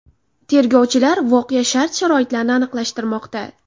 Tergovchilar voqea shart-sharoitlarini aniqlashtirmoqda.